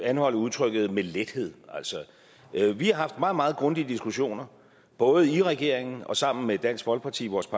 anholde udtrykket med lethed altså vi har haft meget meget grundige diskussioner både i regeringen og sammen med dansk folkeparti vores